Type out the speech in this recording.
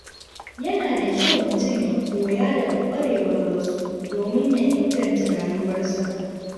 Yana da kyau mutum ya koya daga kwarewar wasu domin ya inganta rayuwarsa.